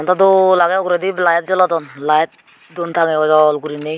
ado dol aage uguredi light jolodon light dun tangiye ojol gori.